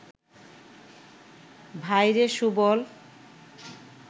ভাইরে সুবল